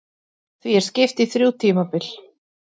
Því er skipt í þrjú tímabil.